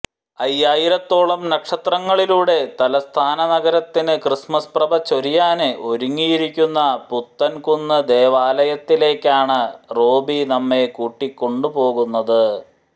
അയ്യായിരത്തോളം നക്ഷത്രങ്ങളിലൂടെ തലസ്ഥാനനഗരത്തിന് ക്രിസ്മസ് പ്രഭ ചൊരിയാന് ഒരുങ്ങിയിരിക്കുന്ന പുത്തന്കുന്ന് ദേവാലയത്തിലേക്കാണ് റോബി നമ്മെ കൂട്ടിക്കൊണ്ടുപോകുന്നത്